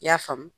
I y'a faamu